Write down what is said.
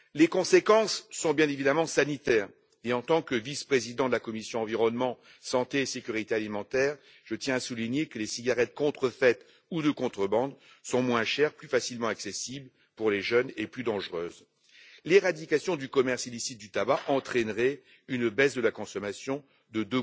Les conséquences sont bien évidemment sanitaires et en tant que vice président de la commission de l'environnement, de la santé et de la sécurité alimentaire, je tiens à souligner que les cigarettes contrefaites ou de contrebande sont moins chères, plus facilement accessibles pour les jeunes et plus dangereuses. L'éradication du commerce illicite du tabac entraînerait une baisse de la consommation de